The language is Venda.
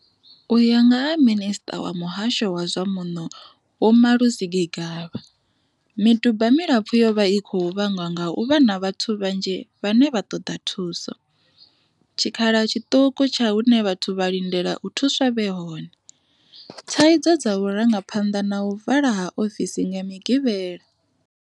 U ya nga ha Minisṱa wa Muhasho wa zwa Muno Vho Malusi Gigaba, miduba milapfu yo vha i khou vhangwa nga u vha na vhathu vhanzhi vhane vha ṱoḓa thuso, tshi khala tshiṱuku tsha hune vhathu vha lindela u thuswa vhe hone, thaidzo dza vhurangaphanḓa na u vala ha ofisi nga Migivhela.